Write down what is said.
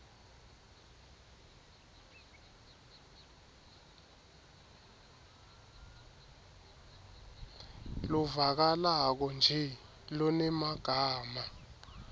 lovakalako nje lonemagama